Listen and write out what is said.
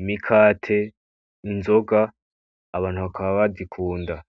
imikate, n’inzoga abantu bakaba bazikunda."